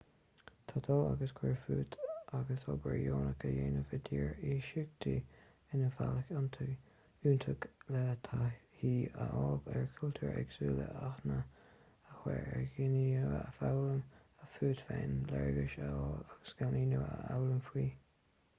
tá dul agus cuir fút agus obair dheonach a dhéanamh i dtír iasachta ina bhealach iontach le taithí a fháil ar chultúr éagsúil aithne a chur ar dhaoine nua foghlaim fút féin léargas a fháil agus scileanna nua a fhoghlaim fiú